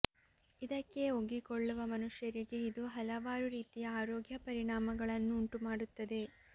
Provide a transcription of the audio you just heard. ಇದಕ್ಕೆ ಒಗ್ಗಿಕೊಳ್ಳುವ ಮನುಷ್ಯರಿಗೆ ಇದು ಹಲವಾರು ರೀತಿಯ ಆರೋಗ್ಯ ಪರಿಣಾಮಗಳನ್ನು ಉಂಟು ಮಾಡುತ್ತದೆ